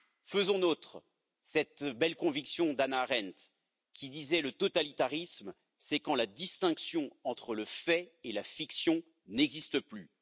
Faisons nôtre cette belle conviction d'Hannah Arendt, qui disait Le totalitarisme, c'est quand la distinction entre le fait et la fiction n'existe plus.